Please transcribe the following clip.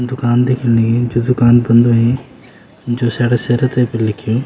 दूकान दीखन लगीं जू दूकान बंद हुई जोशियाड़ा सेरा ते फर लिख्युं।